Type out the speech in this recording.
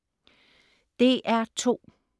DR2: